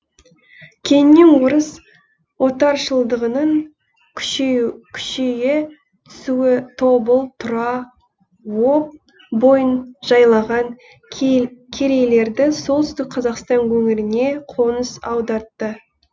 кейіннен орыс отаршылдығының күшейе түсуі тобыл тұра об бойын жайлаған керейлерді солтүстік қазақстан өңіріне қоныс аудартты